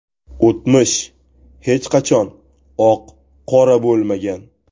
O‘tmish hech qachon oq-qora bo‘lmagan.